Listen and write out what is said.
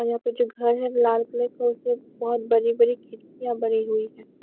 और यहाँ पर जो घर है लाल कलर का उसमें बहुत बड़ी बड़ी खिड़कियाँ बनी हुई हैं।